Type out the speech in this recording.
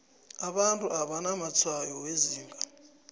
abantu abanamatshwayo wezinga